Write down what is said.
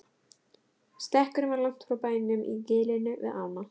Stekkurinn var langt frá bænum í gilinu við ána.